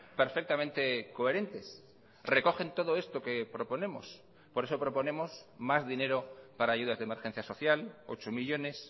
perfectamente coherentes recogen todo esto que proponemos por eso proponemos más dinero para ayudas de emergencia social ocho millónes